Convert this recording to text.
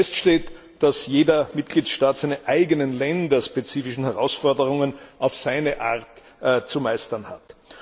Fest steht, dass jeder Mitgliedstaat seine eigenen länderspezifischen Herausforderungen auf seine Art zu meistern hat.